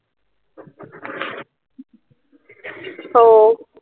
তো